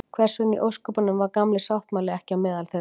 hvers vegna í ósköpunum var „gamli sáttmáli“ ekki á meðal þeirra